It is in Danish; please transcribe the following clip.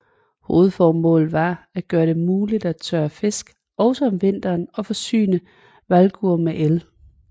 Hovedformålet var at gøre det muligt at tørre fisk også om vinteren og forsyne Vágur med el